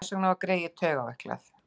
Þess vegna var greyið taugaveiklað.